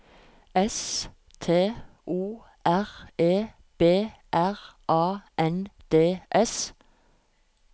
S T O R E B R A N D S